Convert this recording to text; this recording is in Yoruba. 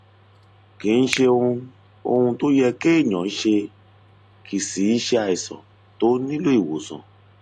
kìí ṣe ohun ohun tó yẹ kéèyàn ṣe kìí sìí ṣe àìsàn tó nílò ìwòsàn